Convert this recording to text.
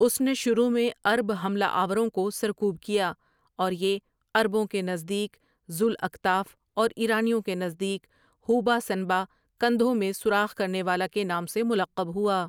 اس نے شروع میں عرب حملہ آورں کو سرکوب کیا اور یہ عربوں کے نزدیک ذوالاکتاف اور ایرانیوں کے نزدیک ھوبہ سنبا کندھوں میں سوراخ کرنے والا کے نام سے ملقب ہوا۔